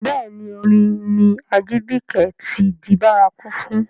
Bẹ́ẹ̀ ni, orin ni Ajibike ti di bárakú fún.